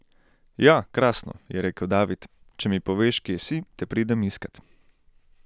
Ja, krasno, je rekel David, če mi poveš, kje si, te pridem iskat.